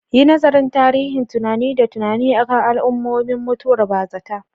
Yi nazarin tasirin tunani da tunani akan al'ummomin mutuwar bazata.